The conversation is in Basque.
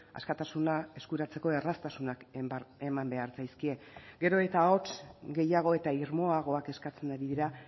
askatasuna eskuratzeko erraztasunak eman behar zaizkie gero eta ahots gehiago eta irmoagoak eskatzen ari dira